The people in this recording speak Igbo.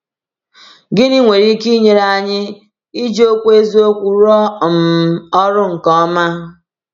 Gịnị nwere ike inyere anyị iji Okwu Eziokwu rụọ um ọrụ nke ọma?